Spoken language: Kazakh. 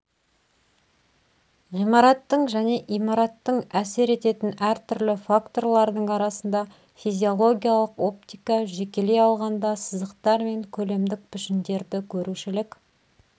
ғимараттың және имараттың әсер ететін әртүрлі факторлардың арасында физиологиялық оптика жекелей алғанда сызықтар мен көлемдік пішіндерді көрушілік